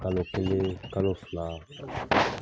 Kalo kelen kalo fila